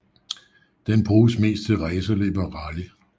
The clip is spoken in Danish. Den bruges mest til racerløb og rally